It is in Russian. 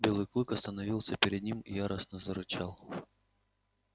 белый клык остановился перед ним и яростно зарычал